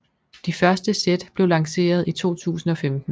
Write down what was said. De første sæt blev lanceret i 2015